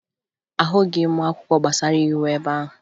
Ahụghị m akwụkwọ gbasara iwu ebe ahụ